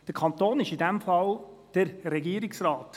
Der Kanton ist in diesem Fall «der Regierungsrat».